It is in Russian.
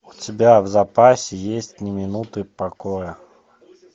у тебя в запасе есть ни минуты покоя